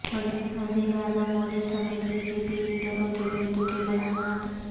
وزیراعظم مودی سمیت BJP لیڈروں کے بے تکے بیانات